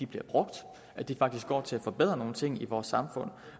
bliver brugt at de faktisk går til at forbedre nogle ting i vores samfund